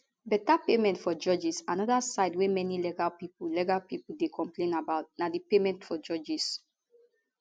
better payment for judges anoda side wey many legal pipo legal pipo dey complain about na di payment for judges